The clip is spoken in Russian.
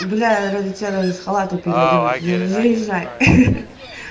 бля ради тебя даже с халата переоденусь заезжай